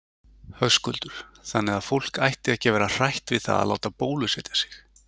Höskuldur: Þannig að fólk ætti ekki að vera hrætt við það að láta bólusetja sig?